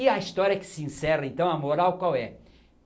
E a história que se encerra então, a moral qual é?